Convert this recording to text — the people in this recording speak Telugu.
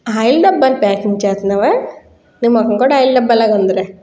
ఆయిల్ డబ్బా ప్యాకింగ్ చేస్తున్నావా . నీ మొహం కూడా ఆయిల్ డబ్బాలో ఉంది లే.